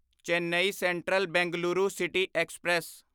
Chennai central Bengaluru city express